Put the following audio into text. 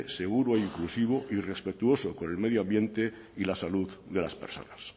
seguro e inclusivo y respetuoso con el medio ambiente y la salud de las personas